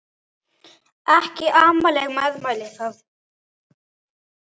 Ekki amaleg meðmæli það.